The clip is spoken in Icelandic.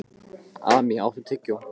Amý, áttu tyggjó?